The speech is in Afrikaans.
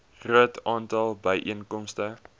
groot aantal byeenkomste